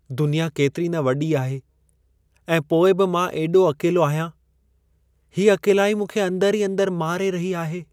दुनिया केतिरी न वॾी आहे ऐं पोइ बि मां एॾो अकेलो आहियां। हीअ अकेलाई मूंखे अंदरु ई अंदरु मारे रही आहे!